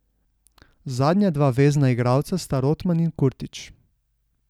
Zadnja dva vezna igralca sta Rotman in Kurtič.